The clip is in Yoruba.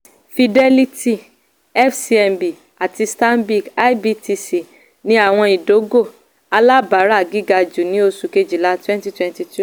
fidelity fcmb àti stanbic ibtc ní àwọn ìdógò alábàárà gíga jù ní oṣù kejìlá cs] twenty twenty two.